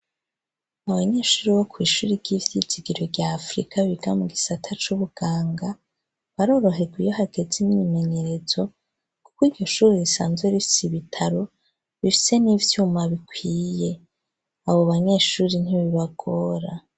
Abanyeshure bo kw'ishure ry'ivyizigiro rya Afrika biga mu gisata c'ubuganga baroroherwa iyo hageze imyimenyerezo kuko iryo shure risanzwe rifise ibitaro rifise n'ivyuma bikwiye. Abo banyeshure ntibibagora.